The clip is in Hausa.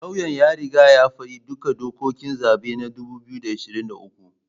Lauyan ya riga ya faɗi duka dokokin zaben na 2023